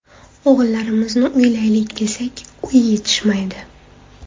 O‘g‘illarimni uylaylik desak, uy yetishmaydi.